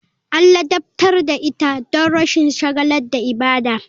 An ladabtar da ita don rashin shagala da ibada.